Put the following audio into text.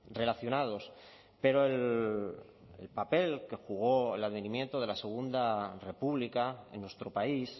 relacionados pero el papel que jugó el advenimiento de la segunda república en nuestro país